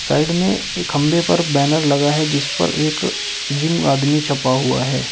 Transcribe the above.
Side में एक खंभे पर बैनर लगा है जिस पर एक जिम आदमी छपा हुआ है।